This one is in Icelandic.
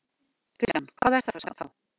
Kristján: Hvað er það þá?